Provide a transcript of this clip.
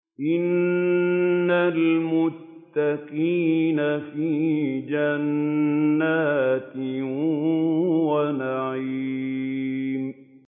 إِنَّ الْمُتَّقِينَ فِي جَنَّاتٍ وَنَعِيمٍ